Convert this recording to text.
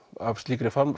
af slíkri